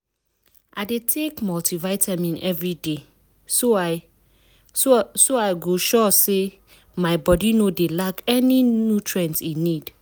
i dey take multivitamin everyday so i so i go sure say my body no dey lack any nutrient e need.